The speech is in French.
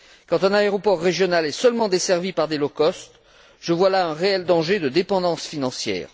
Quand un aéroport régional est seulement desservi par des low cost je vois là un réel danger de dépendance financière.